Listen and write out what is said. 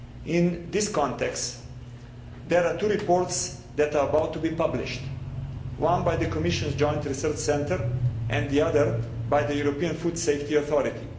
In this context, there are two reports that are about to be published, one by the Commission's Joint Research Centre and the other one by the European Food Safety Authority.